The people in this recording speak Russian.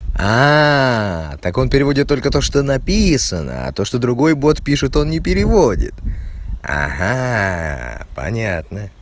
так он переводит только то что написано а то что другой бот пишет он не переводит ага понятно